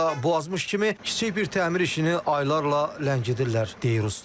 Hətta qazmış kimi kiçik bir təmir işini aylarla ləngidirlər, deyir usta.